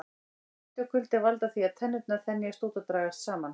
Hiti og kuldi valda því að tennurnar þenjast út og dragast saman.